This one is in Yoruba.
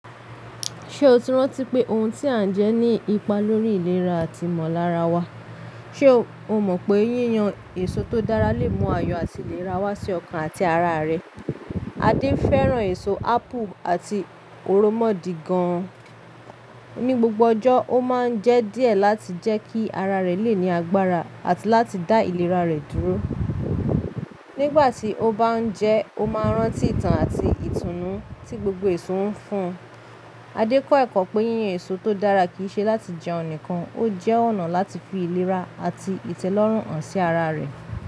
Ṣe o ti rántí pé ohun tí a ń jẹ ní ipa lórí ìlera àti ìmọ̀lára wa? Ṣe o mọ̀ pé yíyan èso tó dára lè mú ayọ̀ àti ìlera wá sí ọkàn àti ara rẹ. Adé fẹ́ràn èso ápù àti òromọ̀dì gan. Ní gbogbo ọjọ́, ó máa ń jẹ díẹ̀ láti jẹ́ kí ara rẹ̀ le ní agbára àti láti dá ìlera rẹ̀ dúró. Nígbà tí ó bá ń jẹ, ó máa ń rántí ìtàn àti ìtùnú tí gbogbo èso ń fún un. Adé kọ́ ẹ̀kọ́ pé yíyan èso tó dára kì í ṣe láti jẹun nìkan, ó jẹ́ ọ̀nà láti fi ìlera àti ìtẹ́lọ́rùn hàn sí ara rẹ̀.